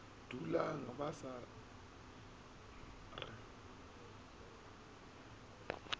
dulang sa ba sa re